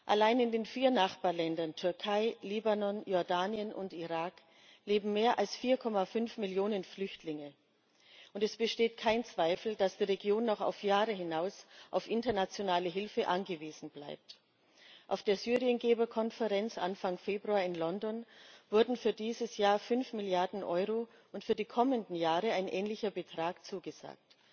Allein in den vier Nachbarländern Türkei, Libanon, Jordanien und Irak leben mehr als 4,5 Millionen Flüchtlinge, und es besteht kein Zweifel, dass die Region noch auf Jahre hinaus auf internationale Hilfe angewiesen bleibt. Auf der Syrien Geberkonferenz Anfang Februar in London wurden für dieses Jahr fünf Milliarden Euro und für die kommenden Jahre ein ähnlicher Betrag zugesagt.